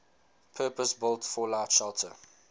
purpose built fallout shelter